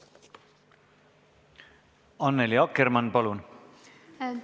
Annely Akkermann, palun!